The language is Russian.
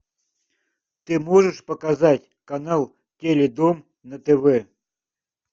ты можешь показать канал теледом на тв